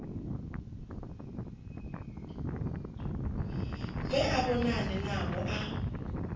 bve a vhonane navho a